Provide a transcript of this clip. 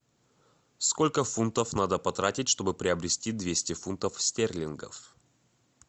сколько фунтов надо потратить чтобы приобрести двести фунтов стерлингов